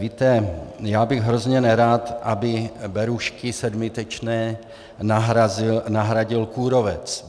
Víte, já bych hrozně nerad, aby berušky sedmitečné nahradil kůrovec.